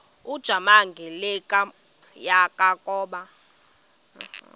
ujamangi le yakoba